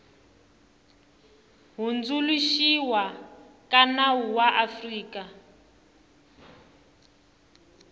hundzuluxiwa ka nawu ya afrika